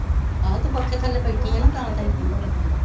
ਆਹੋ ਤੂੰ ਪੱਖੇ ਥੱਲੇ ਬੈਠੀ ਹੈ ਨਾ ਤਾਂ ਤੈਨੂੰ ਠੰਡ ਲੱਗਣ